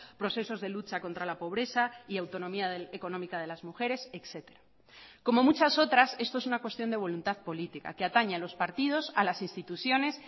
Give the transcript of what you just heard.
procesos de lucha contra la pobreza y autonomía económica de las mujeres etcétera como muchas otras esto es una cuestión de voluntad política que atañe a los partidos a las instituciones